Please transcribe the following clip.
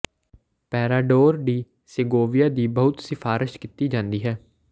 Parador de Segovia ਦੀ ਬਹੁਤ ਸਿਫਾਰਸ਼ ਕੀਤੀ ਜਾਂਦੀ ਹੈ